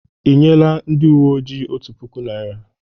Ị nyela ndị uwe ojii otu puku naira?